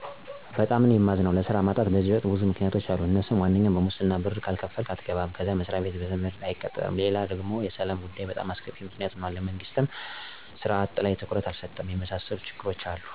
በጣም ነዉ የማዝነዉ። ለስራ ማጣት በዚህ ወቅት ብዙ ምክንያቶች አሉ አነሱም፦ ዋነኛው ሙስና ነው ብር ካልከፈልህ አትገባም፣ ከዛ መስሪያ ቤት ዘመድ ከሌለህ አትቀጠርም፣ ሌላው ደግሞ የሰላም ጉዳይ በጣም አስከፊ ምክንያት ሁኗል፤ መንግስትም ሥራ አጥ ላይ ትኩረት አልሰጠውም። የመሣሠሉ ችግሮች አሉ